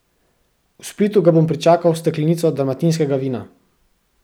V Splitu ga bom pričakal s steklenico dalmatinskega vina.